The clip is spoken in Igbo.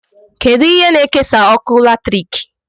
Kedụ ihe na-ekesa ọkụ latriki?